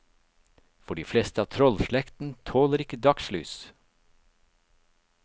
For de fleste av trollslekten tåler ikke dagslys.